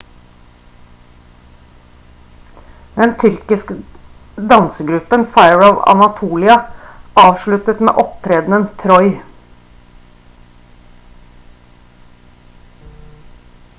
den tyrkisk dansegruppen fire of anatolia avsluttet med opptredenen «troy»